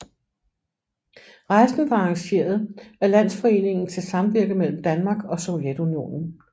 Rejsen var arrangeret af Landsforeningen til Samvirke mellem Danmark og Sovjetunionen